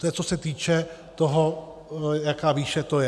To je, co se týče toho, jaká výše to je.